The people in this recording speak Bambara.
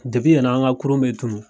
yen nɔ an ka kurun bɛ tunun.